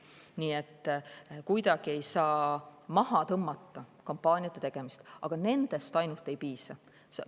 Nii et kuidagi ei saa maha tõmmata kampaaniate tegemist, aga ainult nendest ei piisa.